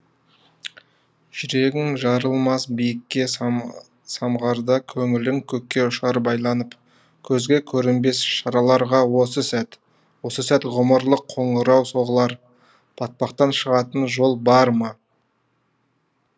жүрегің жарылмас биікке самғарда көңілің көкке ұшар байланып көзге көрінбес шарларға осы сәт осы сәт ғұмырлық қоңырау соғылар батпақтан шығатын жол бар ма